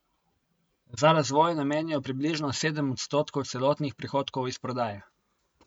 Za razvoj namenijo približno sedem odstotkov celotnih prihodkov iz prodaje.